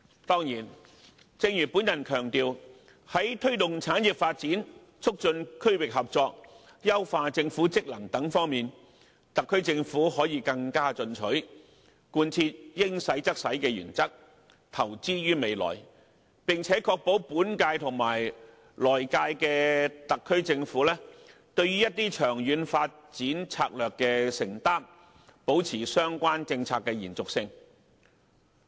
當然，正如我強調，在推動產業發展、促進區域合作、優化政府職能等方面，特區政府可以更進取，貫徹"應使用則使用"的原則，投資於未來，並且確保本屆及來屆的特區政府，對於一些長遠發展策略的承擔，保持相關政策的延續性。